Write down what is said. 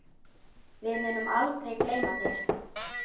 Við munum aldrei gleyma þér.